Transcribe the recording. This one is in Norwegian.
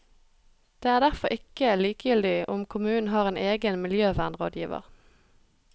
Det er derfor ikke likegyldig om kommunen har en egen miljøvernrådgiver.